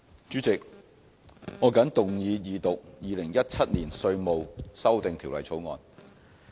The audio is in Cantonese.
主席，我謹動議二讀《2017年稅務條例草案》。